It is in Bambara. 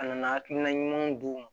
A nana hakilina ɲumanw d'u ma